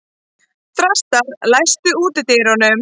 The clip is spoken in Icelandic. Þrastar, læstu útidyrunum.